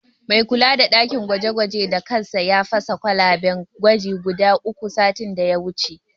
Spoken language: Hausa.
Mai kula da ɗakin gwaje-gwajen da kansa ya fasa kwalaben gwaji guda uku, satin da ya wuce.